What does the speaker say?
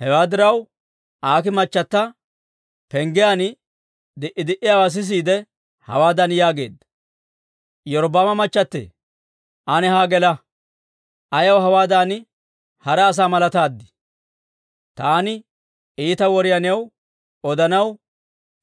Hewaa diraw, Aakii machata penggiyaan di"i di"iyaawaa sisiide hawaadan yaageedda; «Iyorbbaama machchattitee, ane haa gela. Ayaw hawaadan hara asaa malataad? Taani iita woriyaa new odanaw